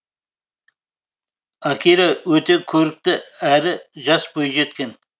акира өте көрікті әрі жас бойжеткен